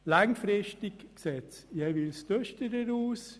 Langfristig sieht es jeweils düsterer aus.